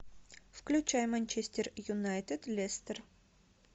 включай манчестер юнайтед лестер